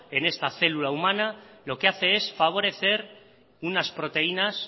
en esta célula humana lo que hace es favorecer unas proteínas